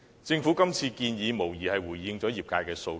政府今次的建議，無疑是回應了業界的訴求。